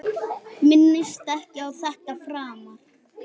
Minnist ekki á þetta framar.